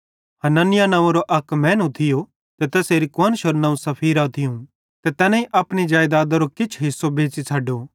हनन्याह नव्वेंरो अक मैनू थियो ते तैसेरी कुआन्शरू नवं सफीरा थियूं ते तैनेईं अपनी जेईदातरो किछ हिस्सो बेच़ी छ़ड्डो